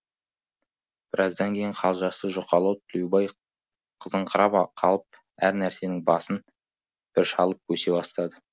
біраздан кейін қалжасы жұқалау тілеубай қызыңқырап қалып әр нәрсенің басын бір шалып бөсе бастады